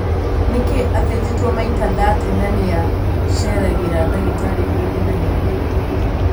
Nikki athĩnjĩtwo maita thate na niaceragira dagitari hindi na hindi.